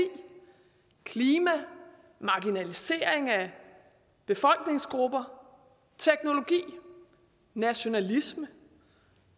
klima marginalisering af befolkningsgrupper teknologi nationalisme